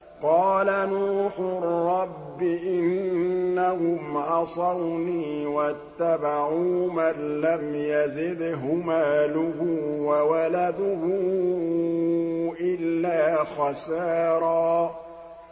قَالَ نُوحٌ رَّبِّ إِنَّهُمْ عَصَوْنِي وَاتَّبَعُوا مَن لَّمْ يَزِدْهُ مَالُهُ وَوَلَدُهُ إِلَّا خَسَارًا